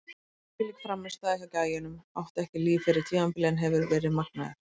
Þvílík frammistaða hjá gæjanum, átti ekki líf fyrir tímabilið en hefur verið magnaður!